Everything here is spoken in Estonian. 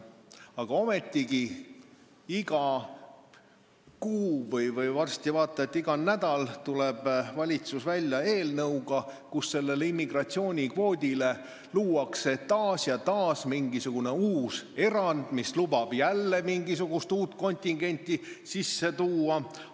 Aga ometigi, iga kuu või varsti vaat et iga nädal tuleb valitsus välja eelnõuga, kus sellele immigratsioonikvoodile luuakse taas ja taas mingisugune uus erand, mis lubab jälle mingisugust uut kontingenti sisse tuua.